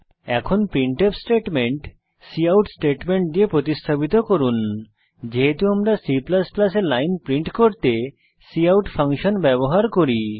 এখন printf statement cout statement দিয়ে প্রতিস্থাপিত করুনযেহেতু আমরা C এ লাইন প্রিন্ট করতে কাউট ফাংশন ব্যবহার করি